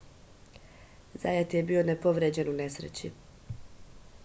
zajat je bio nepovređen u nesreći